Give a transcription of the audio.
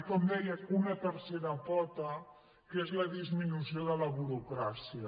i com deia una tercera pota que és la disminució de la burocràcia